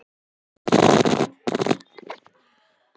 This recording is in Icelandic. Jökulár koma undan jöklum og verða til við leysingu jökulíss.